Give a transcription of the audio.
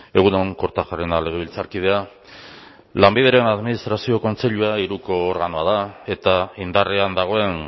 egun on kortajarena legebiltzarkidea lanbideren administrazio kontseilua organoa da eta indarrean dagoen